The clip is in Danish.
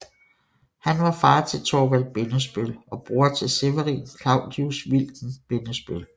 Han var far til Thorvald Bindesbøll og bror til Severin Claudius Wilken Bindesbøll